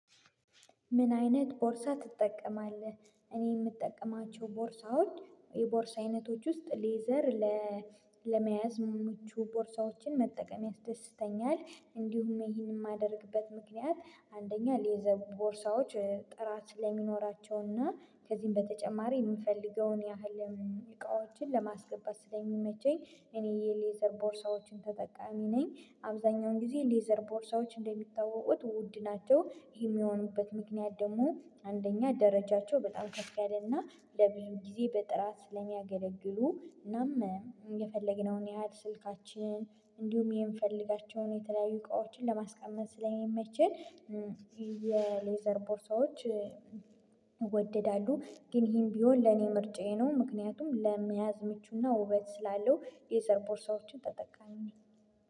ምን አይነት ቦርሳ ትጠቀማለህ? እኔ የምጠቀማቸው ቦርሳዎች የቦርሳ አይነቶች ውስጥ ሌዘር ለእ ለመያዝ ምቹ ቦርሳዎችን መጠቀም ያስደስተኛል። እንዲሁም ይሄንን የማደርግበት ምክንያት አንደኛ ሌዘር ቦርሳዎች እእ ጥራት ስለሚኖራቸውና ከዚህም በተጨማሪ የምፈልገውን እምም ያህል እቃዎችን ለማስገባት ስለሚመቸኝ። እኔ የሌዘር ቦርሳዎችን ተጠቃሚ ነኝ አብዛኛውን ጊዜ ሌዘር ቦርሳዎች እንደሚታወቁት ውድ ናቸው ይሄ የሚሆኑበት ምክንያት ደግሞ አንደኛ ደረጃቸው በጣም ከፍ ያለ ና ለብዙ ጊዜ በጥራት ስለሚያገለግሉ እናም። የፈለግነውን ያህል ስልካችን እንዲሁም የምፈልጋቸውን የተለያዩ እቃዎችን ለማስቀመጥ ስለሚመችን እም የሌዘር ቦርሳዎች እ ይወደዳሉ ግን ይሄን ቢሆን ለኔ ምርጫዬ ነው። ምክንያቱም ለመያዝ ምቹና ውበት ስላለው የሌዘር ቦርሳዎችን ተጠቃሚ ነኝ